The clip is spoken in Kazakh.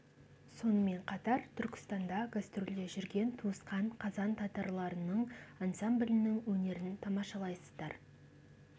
сонымен қатар түркістанда гастрольде жүрген туысқан қазан татарларының ансамблінің өнерін тамашалайсыздар